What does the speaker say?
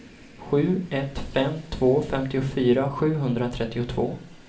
sju ett fem två femtiofyra sjuhundratrettiotvå